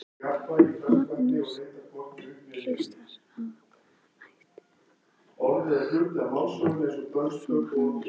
Magnús Hlynur: Og ætlar þú að smakka allar tegundirnar?